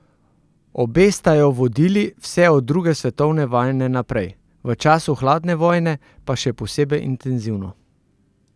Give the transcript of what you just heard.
Obe sta jo vodili vse od druge svetovne vojne naprej, v času hladne vojne pa še posebej intenzivno.